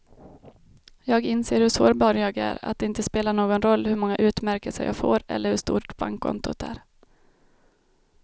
Jag inser hur sårbar jag är, att det inte spelar någon roll hur många utmärkelser jag får eller hur stort bankkontot är.